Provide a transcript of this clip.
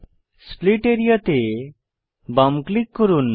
split area তে বাম click করুন